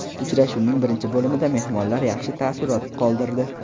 Uchrashuvning birinchi bo‘limida mehmonlar yaxshi taassurot qoldirdi.